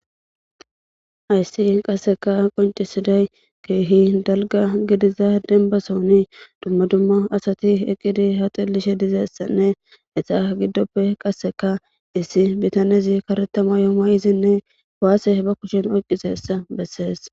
Hayssi qasi qoncisidday kehi dalga gidida denbasoni dumma dumma asati eqidi ha xelishe dizayssanne eta gidoppe qasekka issi bitaney karetha mayo mayidine kuwase bakushen oyqizayssa besses.